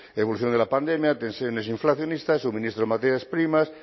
evolución de la pandemia tensiones inflacionistas suministro de materias primas